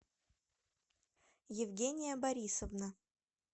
евгения борисовна